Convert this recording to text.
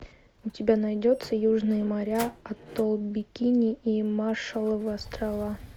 у тебя найдется южные моря атолл бикини и маршалловы острова